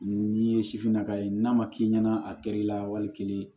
N'i ye sifinnaka ye n'a ma k'i ɲɛna a kɛr'i la wali kelen